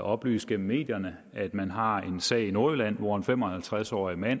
oplyst gennem medierne at man har en sag i nordjylland hvor en fem og halvtreds årig mand